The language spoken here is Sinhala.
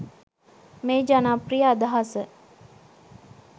මේ ජනප්‍රිය අදහස